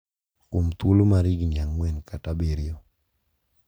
Kuom thuolo mar higni ang`wen kata abiriyo.